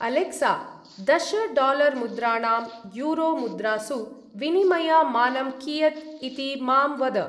Alexa! दश-डालर्-मुद्राणां यूरो-मुद्रासु विनिमय-मानं कियत् इति मां वद।